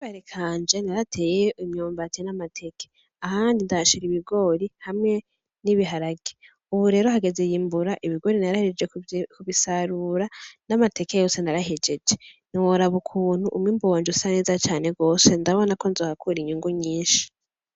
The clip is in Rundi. Bare kanje narateye imyombaze n'amateke ahandi ndashira ibigori hamwe n'ibiharage, ubu rero hageze yimbura ibigori narahiririje ku bisarura n'amateke yose narahijeje ni woraba ukuntu umwimbuwanje usa neza cane rwose ndabona ko nzohakura inyungu nyinshi.